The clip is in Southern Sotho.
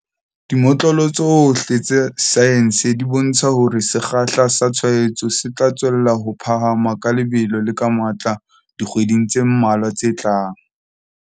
Dimotlolo tsohle tsa saense di bontsha hore sekgahla sa tshwaetso se tla tswella ho phahama ka lebelo le ka matla dikgweding tse mmalwa tse tlang.